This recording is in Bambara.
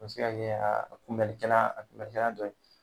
O be se kɛ a kunbɛnni kɛla a kubɛnni kɛla dɔ ye